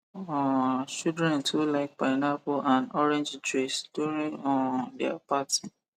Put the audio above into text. um children too like pineapple and orange juice during um their party